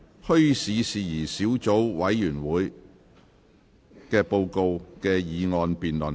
"墟市事宜小組委員會的報告"的議案辯論。